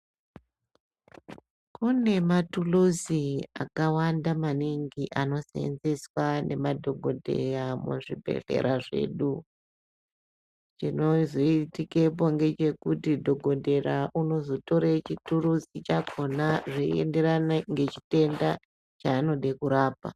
Kune maturuzi akawanda maningi anoseenzeswa ngemadhogodheya muzvibhedhlerazvedu. Chinozoitikepo ngechekuti dhogodheya unozotora chituruzi chakhona zveienderana ngechitenda chaanoda kurapa.